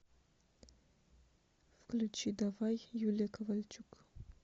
включи давай юлия ковальчук